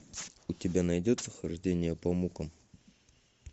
у тебя найдется хождение по мукам